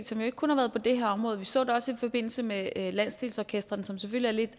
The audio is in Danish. som jo ikke kun har været på det her område vi så det også i forbindelse med landsdelsorkestrene som selvfølgelig